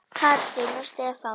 Katrín og Stefán.